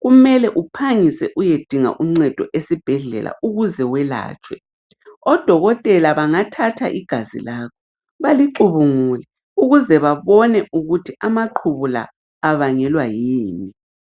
kumele uphangise uyedinga uncedo esibhedlela ukuze welatshwe , odokotela bangathatha igazi lakho balicubungule ukuze babone ukuthi amaqhubu la abangelwa yini